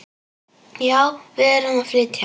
Já, við erum að flytja.